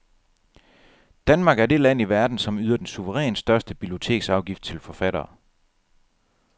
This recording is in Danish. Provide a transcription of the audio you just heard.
Danmark er det land i verden, som yder den suverænt største biblioteksafgift til forfattere.